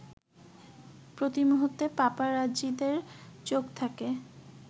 প্রতিমুহূর্তে পাপারাজ্জিদের চোখ থাকে